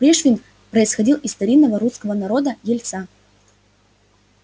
пришвин происходил из старинного русского народа ельца